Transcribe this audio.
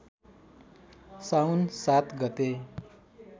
साउन ७ गते